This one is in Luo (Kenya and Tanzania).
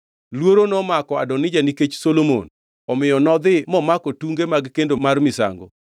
Luoro nomako Adonija nikech Solomon, omiyo nodhi momako tunge mag kendo mar misango.